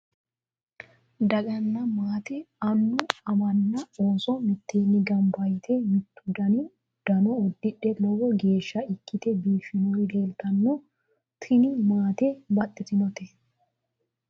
Daganna maate annu amanna ooso mitteenni gamba yite mittu dani uddano uddidhe lowo geeshsha ikkite biiffannori leeltanno tini maate baxantannote